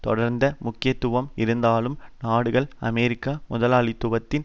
தொடர்ந்த முக்கியத்துவம் இருந்தாலும் நாடுகள் அமெரிக்க முதலாளித்துவத்தின்